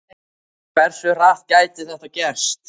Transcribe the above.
En hversu hratt gæti þetta gerst?